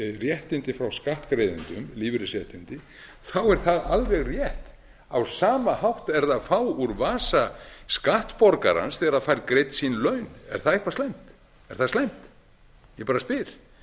réttindi frá skattgreiðendum lífeyrisréttindi þá er það alveg rétt á sama hátt er það að fá úr vasa skattborgarans þegar það fær greidd sín laun er það eitthvað slæmt er það slæmt ég bara spyr